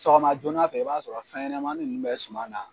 Sɔgɔma joona fɛ i b'a sɔrɔ fɛnɲɛnɛmanin ninnu bɛ suma na.